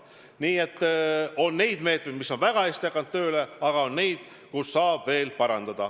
Nii et on meetmeid, mis on väga hästi hakanud tööle, aga on ka neid, mida saab veel parandada.